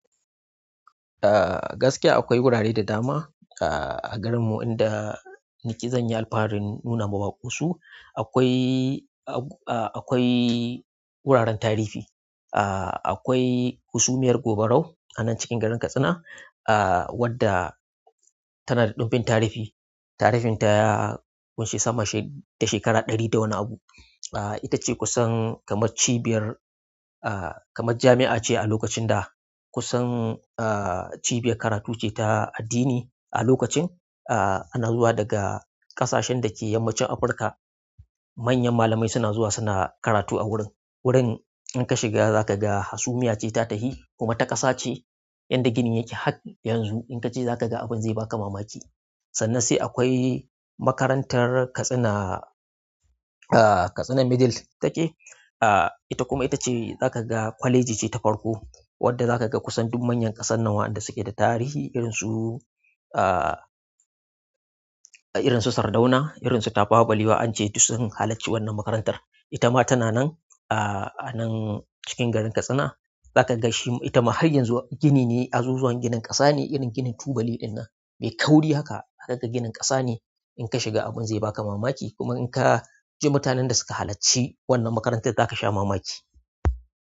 Ah gaskiya akwai gurare da dama ah a garinmu inda ni ke zan yi alfarin nuna ma baƙo su. Akwai, akwai wuraren tarifi, akwai hasumiyar Gobarau a nan cikin garin Katsina, wadda tana da ɗumbin tarifi. Tarifnta ya ƙunshi sama da shekara ɗari da wani abu. Ita ce kusan kamar cibiyar, kamar jami'a ce a lokacin da. Kusan ah cibiyar karatu ce ta addini a lokacin. Ana zuwa daga ƙasashen da ke yammacin Afirka. Manyan malamai suna zuwa suna karatu a wurin. Wurin in ka shiga za ka ga hasumiya ce ta tahi kuma ta ƙasa ce inda gini yake hat. Yanzu in ka ce za ka ga abun zai ba ka mamaki. Sannan sai akwai makarantar Katsina, Katsina Middle take. Ita kuma ita ce za ka ga kwaleji ce ta farko wadda za ka ga kusan duk manyan ƙasan nan waɗanda suke da tarihi irinsu, irinsu Sardauna, irinsu Tafawa Balewa an je su sun halarci wannan makarantar. Ita ma tana nan ah a nan cikin garin Katsina. Za ka ga shi, ita ma har yanzu gini ne, azuzuwan ginin ƙasa ne irin ginin tubali ɗinnan mai kauri haka. Haka ginin ƙasa ne. In ka shiga abin zai ba ka mamaki kuma in ka ji mutanen da suka halarci wannan makarantar za ka sha mamaki.